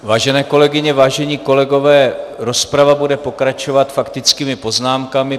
Vážené kolegyně, vážení kolegové, rozprava bude pokračovat faktickými poznámkami.